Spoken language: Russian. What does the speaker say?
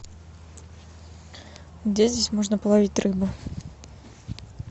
где здесь можно половить рыбу